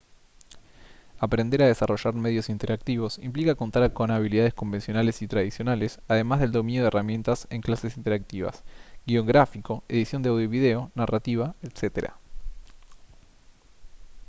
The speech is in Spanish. aprender a desarrollar medios interactivos implica contar con habilidades convencionales y tradicionales además del dominio de herramientas en clases interactivas guion gráfico edición de audio y video narrativa etc.